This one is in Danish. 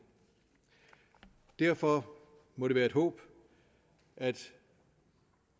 derfor må det være et håb at